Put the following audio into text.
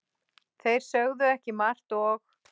Þeir sögðu ekki margt og